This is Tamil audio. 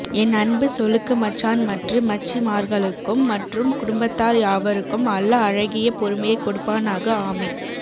என் அன்பு சொளுக்கு மச்சான் மற்று மச்சி மார்களுக்கும் மற்றும் குடும்பத்தார் யாவருக்கும் அல்லாஹ் அழகிய பொறுமையை கொடுப்பானாக ஆமீன்